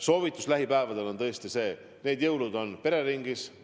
Soovitus lähipäevadeks on see: veedame need jõulud pereringis.